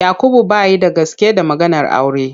Yakubu bai da gaske da maganar aure.